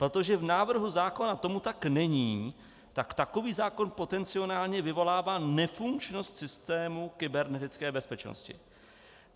Protože v návrhu zákona tomu tak není, tak takový zákon potenciálně vyvolává nefunkčnost systému kybernetické bezpečnosti.